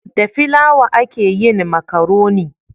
Da filawa a ke yin makaroni